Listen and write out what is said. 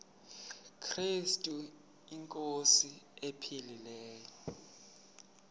krestu inkosi ephilileyo